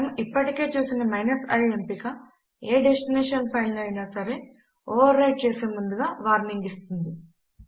మనము ఇప్పటికే చూసిన i ఎంపిక ఏ డెస్టినేషన్ ఫైల్ ను అయినా సరే ఓవర్ రైట్ చేసే ముందుగా వార్నింగ్ ఇస్తుంది